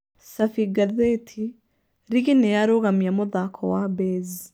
Cabi ngathĩti: Rigi nĩyarũgamia mũthako wa Baze.